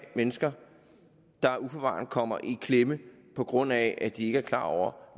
mennesker der uforvarende kommer i klemme på grund af at de ikke er klar over